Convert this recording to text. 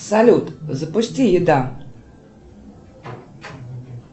салют запусти еда